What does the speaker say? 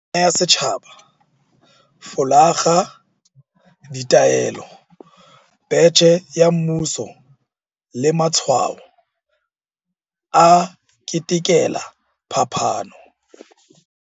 Pina ya setjhaba, folakga, ditaelo, betjhe ya mmuso le matshwao a ketekela phapano.